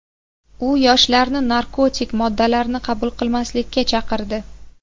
U yoshlarni narkotik moddalarni qabul qilmaslikka chaqirdi.